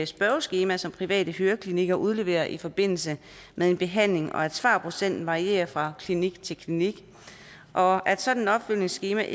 spørgeskema som private høreklinikker udleverer i forbindelse med en behandling og at svarprocenten varierer fra klinik til klinik og at sådan et opfølgningsskema